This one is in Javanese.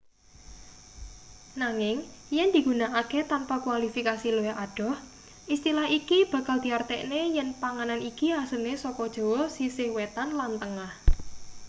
nanging yen digunakake tanpa kualifikasi luwih adoh istilah iki bakal diartekne yen panganan iki asline saka jawa sisih wetan lan tengah